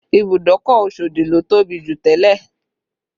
Ìbùdókọ̀ Osodi ló tóbi jù tẹ́lẹ̀